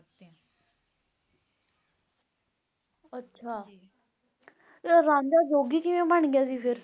ਅੱਛਾ ਰਾਂਝਾ ਜੋਗੀ ਕਿਵੇਂ ਬਣ ਗਿਆ ਸੀ ਫੇਰ